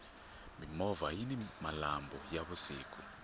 mimovha yini malambhu ya vusiku